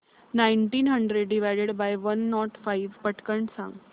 nineteen hundred divided by one nought five पटकन सांग